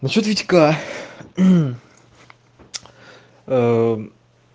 насчёт витька